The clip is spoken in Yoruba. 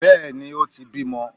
Bẹ́ẹ̀ni, o ti bímọ.